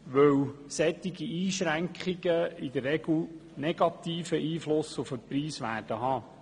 Solche Einschränkungen werden in der Regel negative Einschränkungen auf den Preis haben.